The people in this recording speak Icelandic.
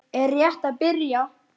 Er þetta að byrja?